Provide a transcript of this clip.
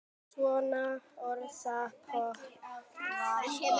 Svona orðspor fór af þér.